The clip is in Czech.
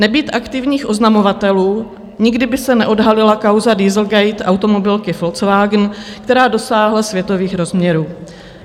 Nebýt aktivních oznamovatelů, nikdy by se neodhalila kauza Dieselgate automobilky Volkswagen, která dosáhla světových rozměrů.